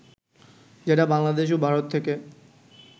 যেটা বাংলাদেশ ও ভারত থেকে